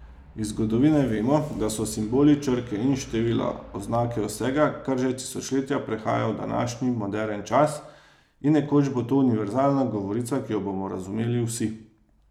Iz zgodovine vemo, da so simboli, črke in števila oznake vsega, kar že tisočletja prehaja v današnji, moderen čas, in nekoč bo to univerzalna govorica, ki jo bomo razumeli vsi.